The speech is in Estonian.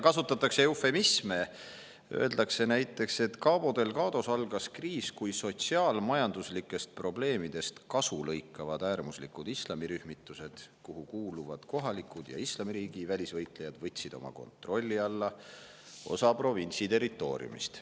Kasutatakse eufemisme, öeldakse näiteks, et Cabo Delgados algas kriis, kui sotsiaal-majanduslikest probleemidest kasu lõikavad äärmuslikud islamirühmitused, kuhu kuuluvad kohalikud ja Islamiriigi välisvõitlejad, võtsid oma kontrolli alla osa provintsi territooriumist.